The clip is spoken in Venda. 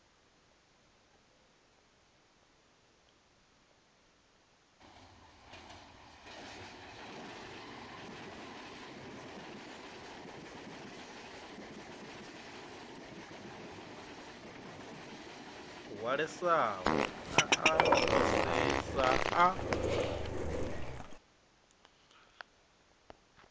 hwalesaho a a fhisesa a